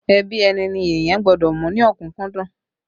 Ẹbí ẹni ni èèyàn gbọ́dọ̀ mú ní ọ̀kúkúdùn